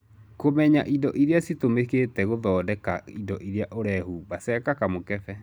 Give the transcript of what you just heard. Kũmenya indo iria citũmĩkĩte gũthondeka indo iria ũrehumba, ceka kamũkebe.